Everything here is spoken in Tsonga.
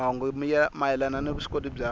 mahungu mayelana ni vuswikoti bya